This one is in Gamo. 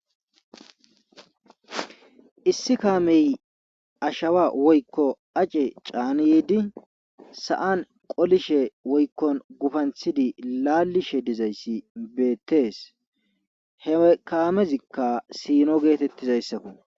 issi kaamey ashawa woykko ace caani yiidi sa7an qolishe woykkon gufanthidi laalishe dizayssi beettees he kaamezikka siino geetettizayssakku